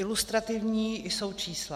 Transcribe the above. Ilustrativní jsou čísla.